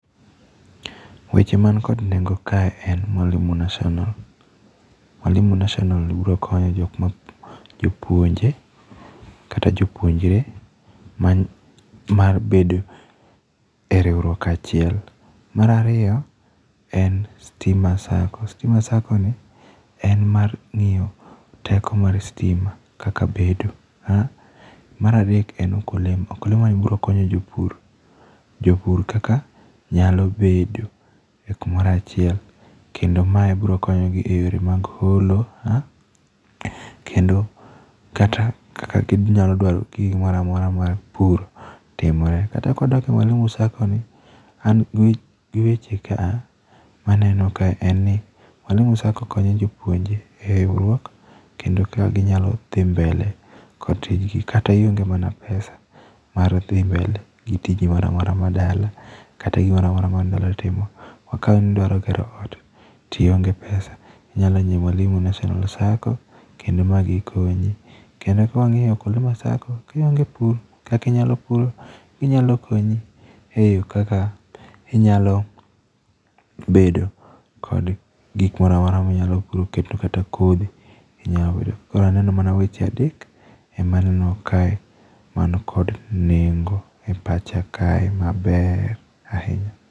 Weche man kod nengo kae en mwalimu national. Mwalimu national uro konyo jok ma jopuonje kata jopuonjre mar bedo e riwruok achiel. Mar ariyo en stima sacco. Stima sacco ni en mar ng'iyo teko mar stima kaka bedo. Mar adek en ukulima. Ukulima ni biro konyo jopur. Jopur kaka nyalo bedo e kumoro achiel. Kendo mae biro konyo gi e yore mag holo, kendo kata kaka ginyalo dwaro gigi moramora mar pur timore. Kata kwadok e mwalimu sacco ni, an gi weche kaa ma aneno ka en ni, mwalimu sacco konyo jopuonje e riwruok kendo kaka ginyalo dhi mbele kod tijgi. Kata ionge mana pesa mar dhi mbele gi tiji moramora ma dala. Kata gimoramora ma nidwaro timo. Ma ka nidwaro gero ot, tionge pesa, inyalo dhi mwalimu national sacco kendo ma gikonyi. Kendo kwang'iyo kuonde ma sacco, kionge pur kaka inyalo pur, ginyalo konyi e yo kaka inyalo bedo kod gik moramora minyalo puro. Kendo kata kodhi inya yudo. Koro aneno mana weche adek, ema aneno kae man kodo nengo e pacha kae maber ahinya.